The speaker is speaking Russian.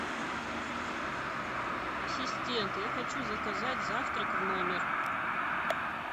ассистент я хочу заказать завтрак в номер